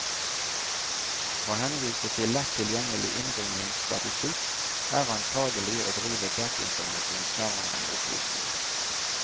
Å henvise til lett tilgjengelig innringningsstatistikk, er antagelig å drive desinformasjon snarere enn opplysning.